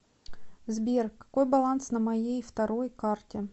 сбер какой баланс на моей второй карте